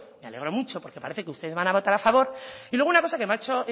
me alegro mucho porque parece que ustedes van a votar a favor y luego una cosa que me ha hecho